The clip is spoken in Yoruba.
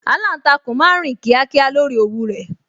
Aláǹtakùn máa ń rìn kíákíá lórí òwú rẹ̀